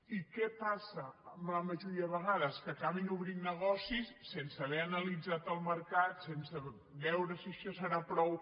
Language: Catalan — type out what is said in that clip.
i què passa la majoria de vegades que acaben obrint negocis sense haver analitzat el mercat sense veure si això serà prou